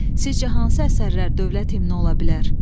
Sizcə hansı əsərlər dövlət himni ola bilər?